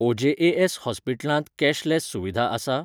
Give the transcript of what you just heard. OJAS हॉस्पिटलांत cashless सुविधा आसा?